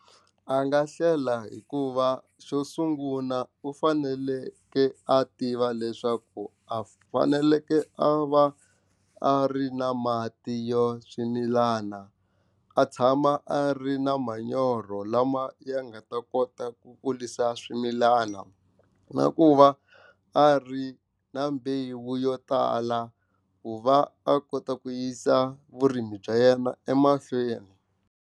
A nga hlela hikuva xo sungula u fanekele a tiva leswaku a fanekele a va a ri na mati yo swimilana a tshama a ri na manyoro lama ya nga ta kota ku kurisa swimilana na ku va a ri na mbewu yo tala ku va a kota ku yisa vurimi bya yena emahlweni.